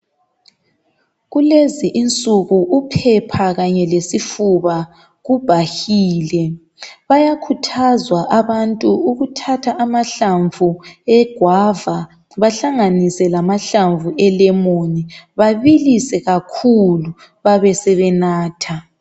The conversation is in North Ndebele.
Kulezi insuku, uphepha kanye lesifuba kubhahile. Bayakhuthazwa abantu ukuthatha ajahlamvu egwava. Bahlanganise lamahlamvu elemon. Babilise kakhulu! Basebenatha.